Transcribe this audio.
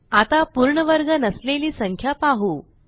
आता पूर्ण वर्ग नसलेली संख्या पाहू